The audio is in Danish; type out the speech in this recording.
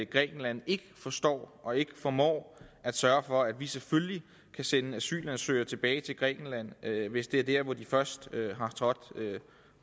grækenland ikke forstår og ikke formår at sørge for at vi selvfølgelig kan sende asylansøgere tilbage til grækenland hvis det er dér de først har trådt